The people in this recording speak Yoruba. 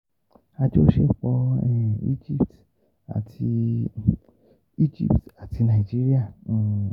Àjọṣepọ̀ um Egypt àti um Egypt àti Nàìjíríà um